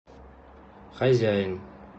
хозяин